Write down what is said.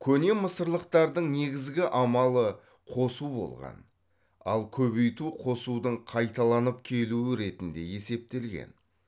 көне мысырлықтардың негізгі амалы қосу болған ал көбейту қосудың қайталанып келуі ретінде есептелген